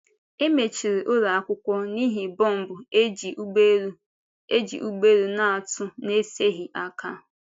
E mechiri ụlọ akwụkwọ n’ihi bọmbụ e ji ụgbọelu e ji ụgbọelu na-atụ n’eseghị aka.